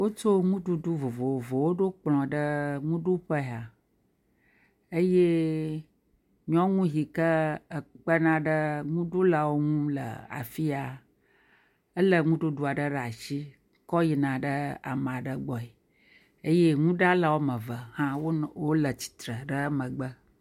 wótso ŋuɖuɖu vovovowo ɖó kplɔ̃ ɖe ŋuɖuƒe ya eye nyɔŋu hike ekpena ɖe ŋuɖulawo ŋu le afia éle ŋuɖuɖu aɖe ɖe asi kɔ yina amaɖe gbɔe eye ŋuɖala wɔmeve hã nɔ tsitre le wó megbe